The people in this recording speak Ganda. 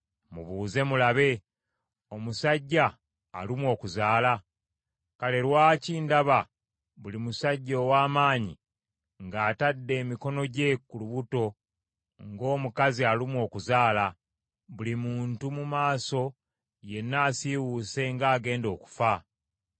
Mubuuze mulabe. Omusajja alumwa okuzaala? Kale lwaki ndaba buli musajja ow’amaanyi ng’atadde emikono gye ku lubuto ng’omukazi alumwa okuzaala, buli muntu mu maaso yenna asiiwuuse ng’agenda okufa?